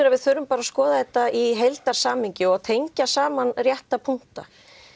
að við þurfum að skoða þetta í heildar samhengi og tengja saman rétta punkta